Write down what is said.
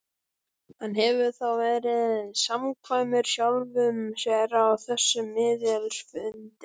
Hann hefur þá verið samkvæmur sjálfum sér á þessum miðilsfundi.